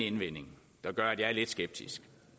indvending der gør at jeg er lidt skeptisk